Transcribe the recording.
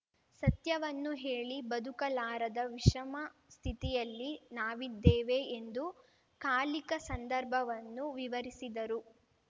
ಸತ್ಯವನ್ನು ಹೇಳಿ ಬದುಕಲಾರದ ವಿಷಮ ಸ್ಥಿತಿಯಲ್ಲಿ ನಾವಿದ್ದೇವೆ ಎಂದು ಕಾಲಿಕ ಸಂದರ್ಭವನ್ನು ವಿವರಿಸಿದರು